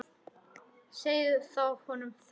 Segið þá honum þessum.